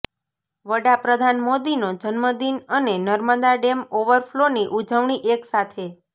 વડાપ્રધાન મોદીનો જન્મદિન અને નર્મદા ડેમ ઓવરફલોની ઉજવણી એક સાથે